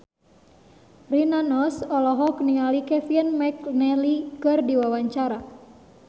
Rina Nose olohok ningali Kevin McNally keur diwawancara